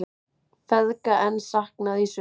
Feðga enn saknað í Sviss